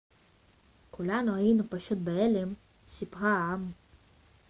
כולנו היינו פשוט בהלם סיפרה האם